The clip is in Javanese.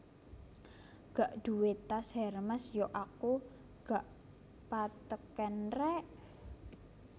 Gak duwe tas Hermes yo aku ga patheken rek